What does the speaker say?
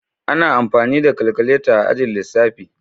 Ana amfani da kalkuleta a ajin lissafi.